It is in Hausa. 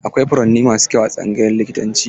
Akwai furanni masu kyau a tsangayar likitanci.